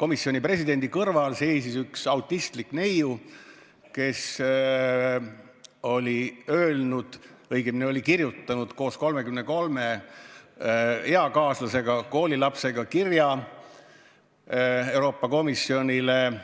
Komisjoni presidendi kõrval seisis üks autistlik neiu, kes oli öelnud, õigemini kirjutanud koos 33 eakaaslasest koolilapsega Euroopa Komisjonile kirja